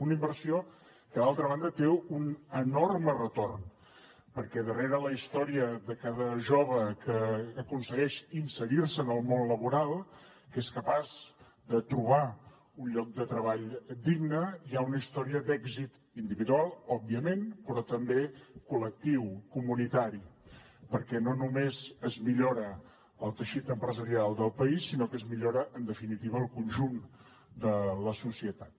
una inversió que d’altra banda té un enorme retorn perquè darrere la història de cada jove que aconsegueix inserir se en el món laboral que és capaç de trobar un lloc de treball digne hi ha una història d’èxit individual òbviament però també col·lectiu comunitari perquè no només es millora el teixit empresarial del país sinó que es millora en definitiva el conjunt de la societat